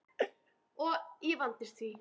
Og ég vandist því.